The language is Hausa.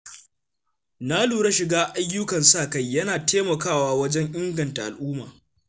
Na lura cewa shiga ayyukan sa-kai yana taimakawa wajen inganta al’umma.